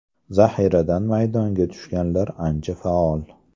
Zahiradan maydonga tushganlar ancha faol.